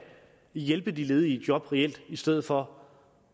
hjælpe de ledige i job i stedet for